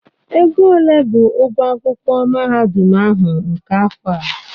Ego ole bụ ụgwọ akwụkwọ mahadum ahụ nke afọ a?